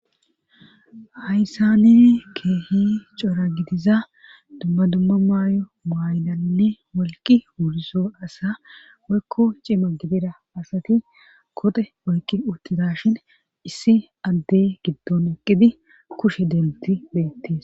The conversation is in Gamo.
hayssani keehi cora gidiza dumma dumma mayo mayidanne wolqqi wurizo asa woykko cima gidira asati koxe oykki uttidaashen issi addey giddon eqqidi kushe dentti beetes